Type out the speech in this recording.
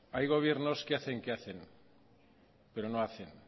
hay gobiernos que hacen que hacen pero no hacen